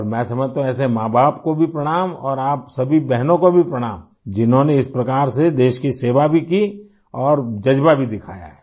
और मैं समझता हूँ ऐसे माँबाप को भी प्रणाम और आप सभी बहनों को भी प्रणाम जिन्होंने इस प्रकार से देश की सेवा भी की और जज़्बा भी दिखाया है